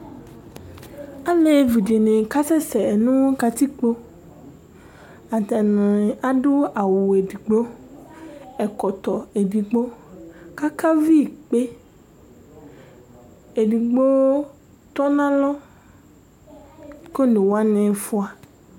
alévi dini kasese nu katikpo atani adu awu edigbo ɛkɔtɔ edigbo kaka vi ikpé édigbo tɔnalɔ konewani fua